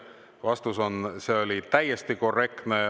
Vastus on, et see oli täiesti korrektne.